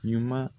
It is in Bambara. Ɲuman